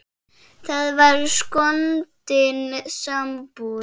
Það var skondin sambúð.